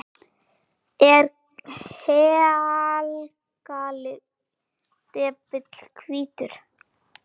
Er haglið depill hvítur?